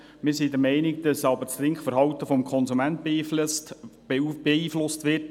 Wir sind aber der Meinung, dass das Trinkverhalten des Konsumenten beeinflusst wird.